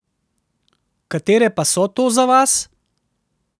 Katere pa so to za vas?